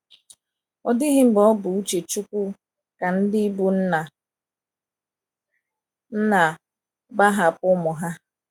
Ọ dịghị mgbe ọ bụ uche Chukwu ka ndị bụ́ nna nna gbahapụ ụmụ ha.